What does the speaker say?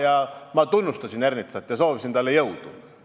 Ja ma tunnustasin Ernitsat ja soovisin talle jõudu.